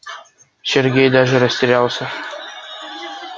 сергей даже растерялся